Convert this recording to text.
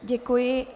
Děkuji.